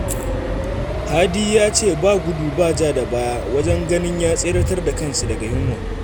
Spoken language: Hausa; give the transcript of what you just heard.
Hadi ya ce ba gudu ba ja da baya wajen ganin ya tseratar da kansa daga yunwa